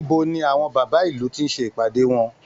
Níbo ni àwọn bàbá ìlù ti ń ṣe ìpàdé wọn?